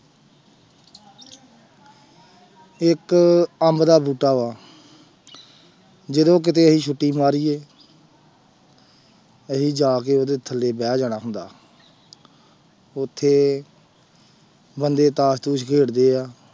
ਇੱਕ ਅੰਬ ਦਾ ਬੂਟਾ ਵਾ ਜਦੋਂ ਕਿਤੇ ਅਸੀਂ ਛੁੱਟੀ ਮਾਰੀਏ ਅਸੀਂ ਜਾ ਕੇ ਉਹਦੇ ਥੱਲੇ ਬਹਿ ਜਾਣਾ ਹੁੰਦਾ ਉੱਥੇ ਬੰਦੇ ਤਾਸ ਤੂਸ ਖੇਡਦੇ ਆ।